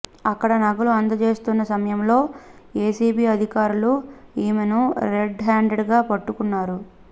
అక్కడ నగలు అందజేస్తున్న సమయంలో ఏసీబీ అధికారులు ఆమెను రెడ్ హ్యాండెడ్గా పట్టుకున్నారు